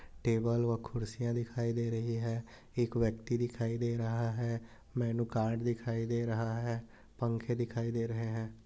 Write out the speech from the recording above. Table व कुर्सियां दिखाई दे रही हैं। एक व्यक्ति दिखाई दे रहा हैं। मेनु कार्ड दिखाई दे रहा हैं। पंखे दिखाई दे रहे हैं।